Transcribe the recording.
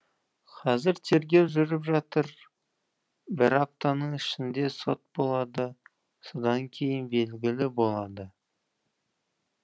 қазір тергеу жүріп жатыр бір аптаның ішінде сот болады содан кейін белгілі болады